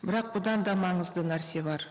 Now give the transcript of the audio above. бірақ бұдан да маңызды нәрсе бар